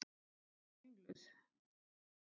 Ég var ringluð.